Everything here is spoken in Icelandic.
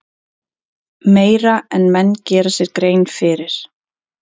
Meira en menn gera sér grein fyrir.